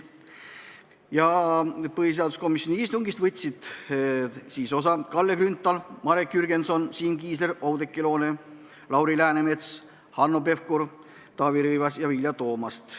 Komisjoni istungist võtsid osa Kalle Grünthal, Marek Jürgenson, Siim Kiisler, Oudekki Loone, Lauri Läänemets, Hanno Pevkur, Taavi Rõivas ja Vilja Toomast.